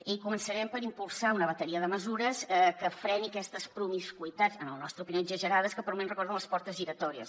i començarem per impulsar una bateria de mesures que freni aquestes promiscuïtats en la nostra opinió exagerades que per un moment recorden les portes giratòries